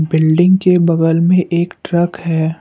Building के बगल में एक ट्रक है।